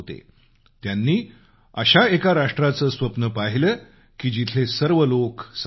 त्यांनी अशा एका राष्ट्राचं स्वप्न पाहिलं की जिथले सर्व लोग समान असतील